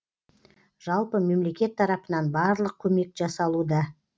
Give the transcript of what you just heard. жалпы мемлекет тарапынан барлық көмек жасалуда